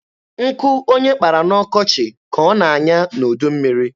Nkụ onye kpara n'ọkọchị ka ọ na-anya n'udummiri.